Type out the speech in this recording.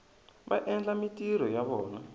va endla mintirho ya vona